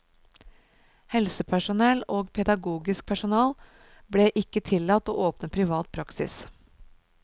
Helsepersonell og pedagogisk personell ble ikke tillatt å åpne privat praksis.